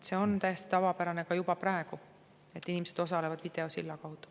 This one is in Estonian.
See on täiesti tavapärane juba praegu, et inimesed osalevad videosilla kaudu.